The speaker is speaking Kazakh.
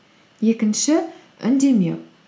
екінші үндемеу